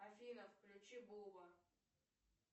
афина включи буба